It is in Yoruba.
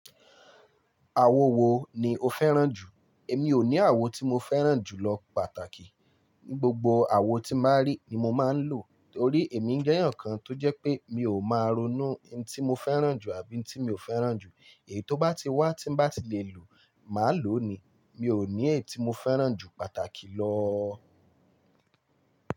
Àwo wo ni o fẹ́ràn jù? Èmi ò ní àwo tí mo fẹ́ràn jù lọ pàtàkì. Gbogbo àwo tí màá rí ni mo máa ń lò. Torí èmi ń jẹ́ èèyàn kan tó jẹ́ pé mi ò máa ronú iun tí mo fẹ́ràn jù àbí iun tí mi ò fẹ́ràn jù. Èyí tó bá ti wá tí ń bá ti lè lo, màá lò ó ni. Mi ò ní èyí tí mo fẹ́ràn jù pàtàkì lọ.